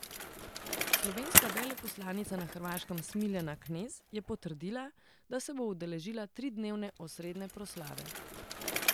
Slovenska veleposlanica na Hrvaškem Smiljana Knez je potrdila, da se bo udeležila tridnevne osrednje proslave.